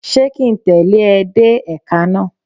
Ṣé ki ń tẹ̀lẹ́ ẹ dé èka náà?